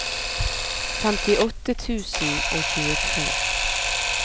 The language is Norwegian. femtiåtte tusen og tjuetre